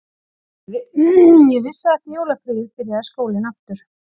Ég vissi að eftir jólafríið byrjaði skólinn aftur